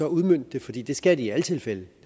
udmønte det fordi det skal det i alle tilfælde det